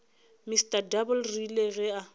mr double rile ge a